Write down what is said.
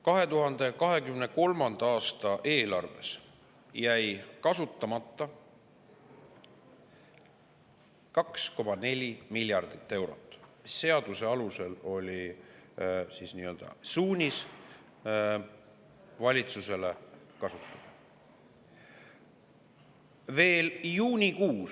2023. aasta eelarves jäi kasutamata 2,4 miljardit eurot, seaduse alusel oli siis valitsusele nii-öelda suunis seda kasutada.